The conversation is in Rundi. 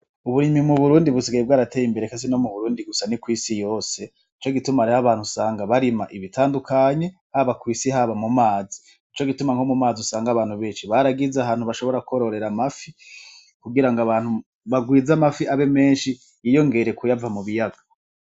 Uburimyi mu Burundi busigaye bwarateye imbere, eka si no mu Burundi gusa ni kw'isi yose, nico gituma hariho abantu usanga barima ibitandukanye haba kw'isi haba mu mazi, nico gituma nko mu mazi usanga abantu benshi baragize ahantu bashobora kwororera amafi, kugira ngo abantu bagwize amafi abe menshi yiyongere kuyava mu biyaga.